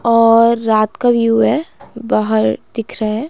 और रात का व्यू है बाहर दिख रहा है।